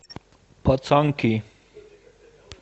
пацанки